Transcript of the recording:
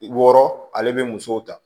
Wɔɔrɔ ale bɛ musow ta